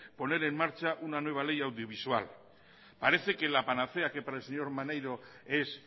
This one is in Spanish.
poner en marcha una nueva ley audiovisual parece que la panacea que para el señor maneiro es